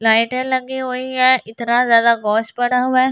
लाइटें लगी हुई है इतना ज्यादा घोष पड़ा हुआ है।